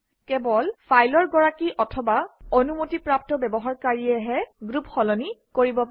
কেৱল ফাইলৰ গৰাকী অথবা অনুমতিপ্ৰাপ্ত ব্যৱহাৰকাৰীয়েহে গ্ৰুপ সলনি কৰিব পাৰে